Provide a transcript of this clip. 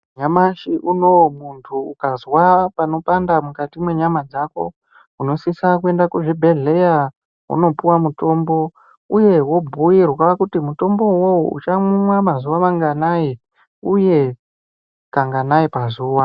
Nyamashi unou muntu ukazwa panopanda mukati mwenyama dzako unosisa kuenda kuzvibhedhleya unopiwa mutombo uye wobhuirwa kuti mutombo uwowo uchaumwa mazuva manganai uye kanganai pazuva.